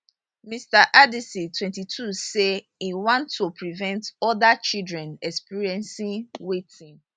mr anderson 22 say im want to prevent oda children experiencing wetin